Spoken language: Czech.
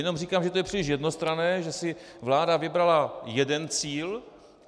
Jenom říkám, že to je příliš jednostranné, že si vláda vybrala jeden cíl.